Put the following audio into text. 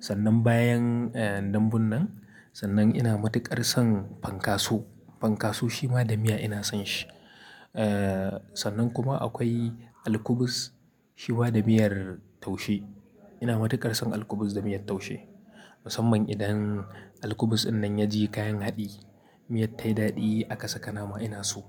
Sannan bayan dambun nan, sannan ina matuƙar son fankaso. Fankaso shi ma da miya ina son shi. Sannan kuma akwai alkubis shi ma da miyar taushe. Ina matuƙar son alkubis da miyar taushe. Musamman idan alkubis dinnan ya ji kayan haɗi, miyar ta yi daɗi aka saka nama ina so.